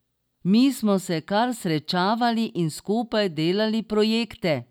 Mi smo se kar srečevali in skupaj delali projekte.